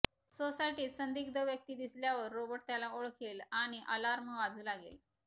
सोसायटीत संदिग्ध व्यक्ती दिसल्यावर रोबोट त्याला ओळखेल आणि अलार्म वाजू लागेल